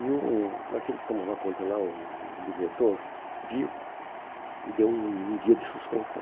E o aquele que tomava conta lá, o o diretor, viu e deu um um dia de suspensão.